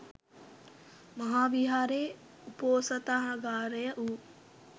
මහාවිහාරයේ උපෝසථාගාරය වූ